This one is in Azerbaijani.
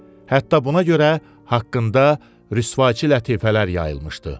Hətta buna görə haqqında rüsvayçı lətifələr yayılmışdı.